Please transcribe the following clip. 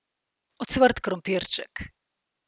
Ocvrt krompirček.